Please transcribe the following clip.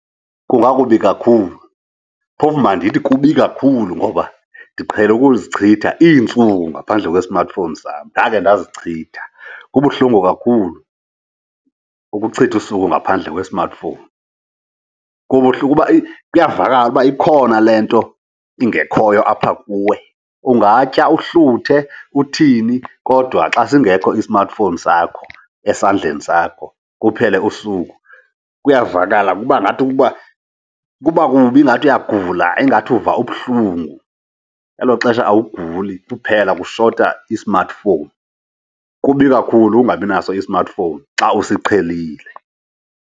Kungakubi kakhulu, phofu mandithi kubi kakhulu ngoba ndiqhele ukuzichitha iintsuku ngaphandle kwe-smartphone sam. Ndake ndizichitha, kubuhlungu kakhulu ukuchitha usuku ngaphandle kwe-smartphone. Kubuhlungu kuba kuyavakala uba ikhona le nto ingekhoyo apha kuwe. Ungatya, uhluthe, uthini kodwa xa singekho i-smartphone sakho esandleni sakho kuphele usuku, kuyavakala. Kuba ngathi ukuba kuba kubi ingathi uyagula, ingathi uva ubuhlungu, elo xesha awuguli kuphela kushota i-smartphone. Kubi kakhulu ungabi naso i-smartphone xa usiqhelile.